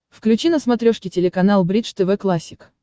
включи на смотрешке телеканал бридж тв классик